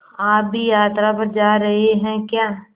आप भी यात्रा पर जा रहे हैं क्या